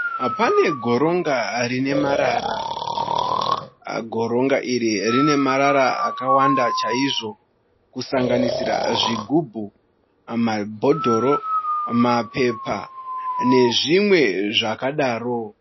Pane goronga rine marara . Goronga iri rine marara akawanda chaizvo . Kusanganisira zvigubhu, mabhodhoro, mapepa nezvimwe zvakadaro.